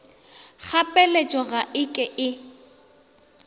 kgapeletšo ga e ke e